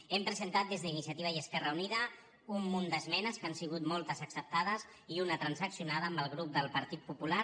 hem presentat des d’iniciativa i esquerra unida un munt d’esmenes que han sigut moltes acceptades i una transaccionada amb el grup del partit popular